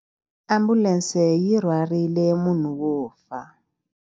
Ambulense yi rhwarile munhu wo fa.